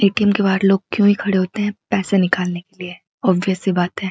ATM के बाहर लोग क्यों ही खड़े होते हैं पैसे निकालने के लिए ऑब्वियस सी बात है।